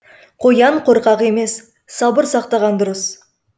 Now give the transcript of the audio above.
қоян қорқақ емес сабыр сақтаған дұрыс